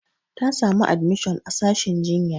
Ta samu admishon a sashin jinya.